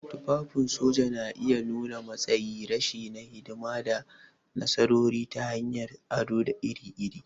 Tufafin soja na iya nuna matsayi, reshe na hidima, da nasarori ta hanyar ado iri-iri.